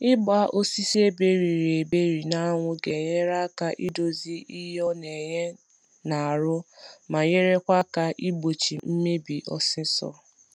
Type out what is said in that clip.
Ịgba osisi eberiri eberi na anwụ ga enyere aka idozi ihe ọ na enye na na enye na arụ ma nyerekwa aka igbochị mmebi ọsịsọ